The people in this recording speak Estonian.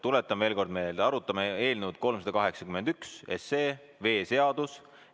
Tuletan veel kord meelde, et arutame eelnõu 381, veeseadust.